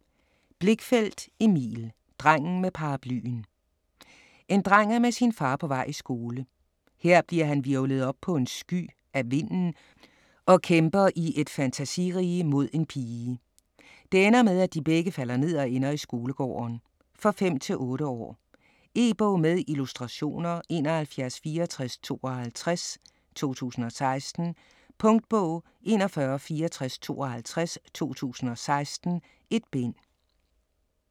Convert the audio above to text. Blichfeldt, Emil: Drengen med paraplyen En dreng er med sin far på vej i skole. Her bliver han hvirvlet op på en sky af vinden og kæmper i et fantasirige mod en pige. Det ender med, at de begge falder ned og ender i skolegården. For 5-8 år. E-bog med illustrationer 716452 2016. Punktbog 416452 2016. 1 bind.